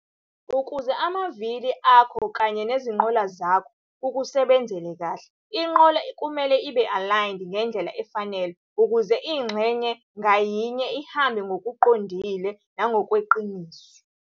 Ukuze amavili akho kanye nezinqola zakho kukusebenzele kahle, inqola kumele ibe aligned ngendlela efanele ukuze ingxenye ngayinye ihambe ngokuqondile nangokweqiniso.